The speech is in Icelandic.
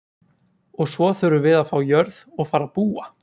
Og svo þurfum við að fá jörð og fara að búa.